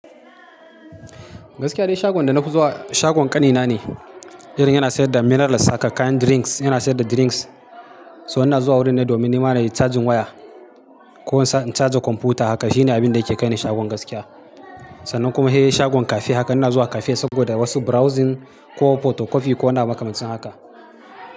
Gaskiya dai shagon da na fi zuwa shagon ƙanina ne, irin yana sayar da minerals haka, kayan drinks, yana sayar da drinks. So ina zuwa wurin ne domin nima na yi charging waya ko in sa in charger a kwamfuta haka. Shine abinda yake kai ni shagon gaskiya. Sannan kuma he shagon cafe haka. Ina zuwa cafe saboda wasu browsing ko photocopy ko waniabu makamancin haka.